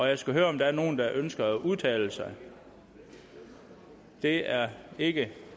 jeg skal høre om der er nogen der ønsker at udtale sig det er ikke